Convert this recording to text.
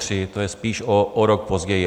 To je spíš o rok později.